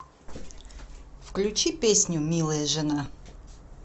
включи песню милая жена